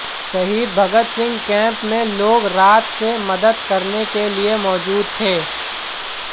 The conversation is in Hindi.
शहीद भगत सिंह कैंप में लोग रात से मदद करने के लिए मौजूद थे